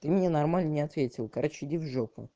ты мне нормально не ответил короче иди в жопу